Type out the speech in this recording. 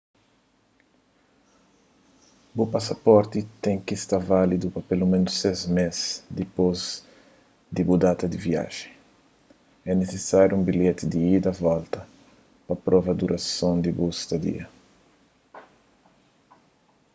bu pasaporti ten ki sta válidu pa peloménus 6 més dipôs di bu data di viajen. é nisisáriu un bilheti di ida/volta pa prova durason di bu stadia